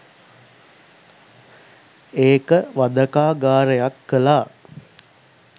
ඒක වධකාගාරයක් කලා.